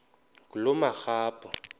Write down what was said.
ngulomarabu